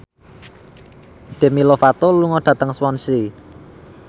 Demi Lovato lunga dhateng Swansea